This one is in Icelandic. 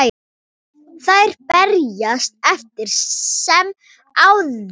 Þær berjast eftir sem áður.